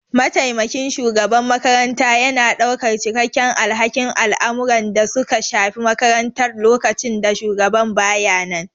Mataimakin shugaban makaranta yana ɗaukar cikakken alhakin al'amuran da suka shafi makarantar lokacin da shugaban ba ya nan.